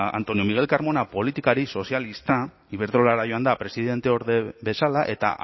antonio miguel carmona politikari sozialista iberdrolara joan da presidenteorde bezala eta